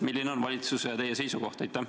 Milline on valitsuse ja teie seisukoht?